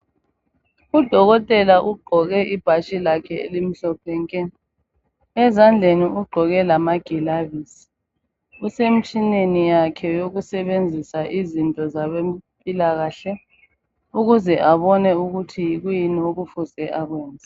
UDokotela ugqoke ibhatshi lakhe elimhlophe nke. Ezandleni ugqoke lama gilavizi. Usemtshineni yakhe kokusebenzisa izinto zabempilakahle ukuze abone ukuthi yikwiyini okumele akwenze.